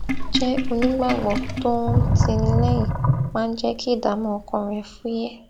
jé onígbàgbọ tó ń tini léyìn máa ń jé kí ìdààmú ọkàn rè fúyé